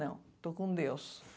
Não, estou com Deus.